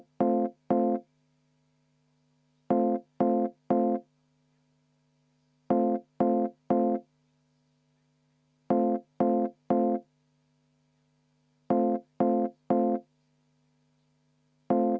Ma palun 10 minutit vaheaega enne hääletust.